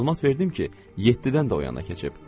Məlumat verdim ki, yeddidən də o yana keçib.